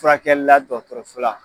Furakɛli la dɔgɔtɔrɔso la